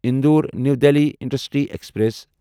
Indore new Delhi intercity express